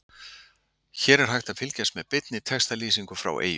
Hér er hægt að fylgjast með beinni textalýsingu frá Eyjum.